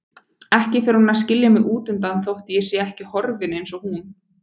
Ekki fer hún að skilja mig útundan þótt ég sé ekki horfinn eins og hún.